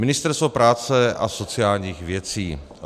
Ministerstvo práce a sociálních věcí.